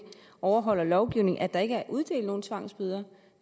overholder lovgivningen at der ikke er uddelt nogen tvangsbøder